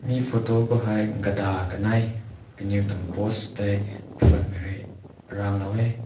fhoto ko hai gata kanai kanui tüng post te phumai re rang loi wae.